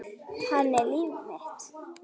Hann er líf mitt.